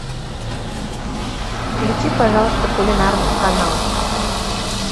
включи пожалуйста кулинарный канал